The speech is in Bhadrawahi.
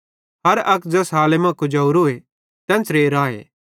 हर अक ज़ैस हालती मां कुजावरोए तेन्च़रे राए